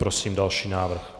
Prosím další návrh.